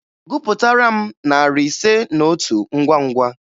Gụpụtara m narị ise na otu ngwa ngwa!